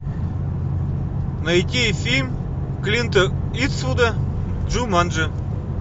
найти фильм клинта иствуда джуманджи